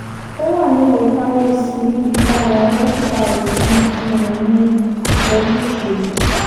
ó wà nílùú paris níbi táwọn dókítà rẹ̀ ti ń fún un ní ìtọ́jú ìṣègùn